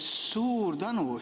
Suur tänu!